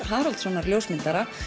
Haraldssonar ljósmyndara